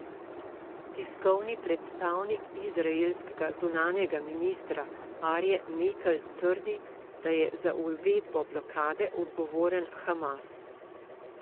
Tiskovni predstavnik izraelskega zunanjega ministrstva Arje Mekel trdi, da je za uvedbo blokade odgovoren Hamas.